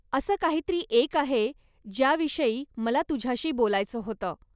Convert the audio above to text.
असं काहीतरी एक आहे, ज्याविषयी मला तुझ्याशी बोलायचं होतं.